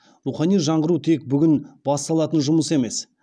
рухани жаңғыру тек бүгін басталатын жұмыс емес